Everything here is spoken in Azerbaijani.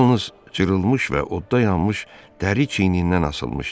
Yalnız cırılmış və odda yanmış dəri çiyinindən asılmışdı.